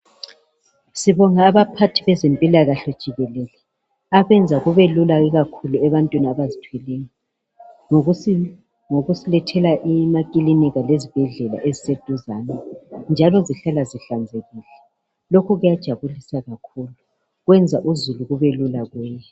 Sibonga abaphathi bezempilakahle jikelele abenza kube lula ikakhulu ebantwini abazithweleyo ngokusilethela imaklinika lezibhedlela eziseduzane njalo zihlala zihlanzekile , lokhu kuyajabulisa kakhulu kwenza uzulu kube lula kuye